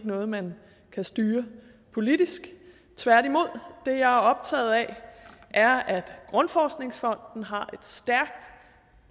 noget man kan styre politisk tværtimod det jeg er optaget af er at grundforskningsfonden har et stærkt